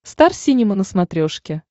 стар синема на смотрешке